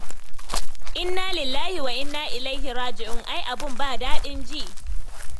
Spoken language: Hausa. Inna lillahi wa'inna ilaihir raji'un! ai aibun ba daɗin ji.